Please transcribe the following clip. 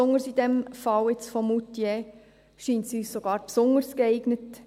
gerade im Fall von Moutier scheint uns dies sogar besonders geeignet.